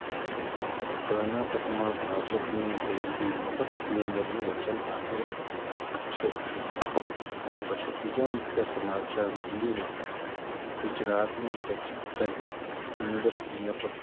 કર્ણાટકમાં ભાજપ ની રેવડી મફત cylinder નું વચન આપે છે આ પછી બીજા મુખ્ય સમાચાર મંદીમાં ગુજરાતની textile industry ના